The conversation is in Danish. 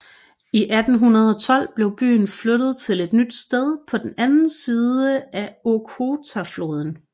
I 1812 blev byen flyttet til et nyt sted på den anden side af Okhotafloden